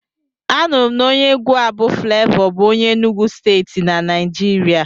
Anụrụ m na onye egwu a bụ Flevọ bụ onye Enugwu Steeti na Naijiria.